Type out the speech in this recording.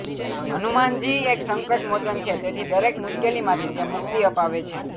હનુમાનજી એક સંકટ મોચન છે તેથી દરેક મુશ્કેલીમાંથી મુક્તિ અપાવે છે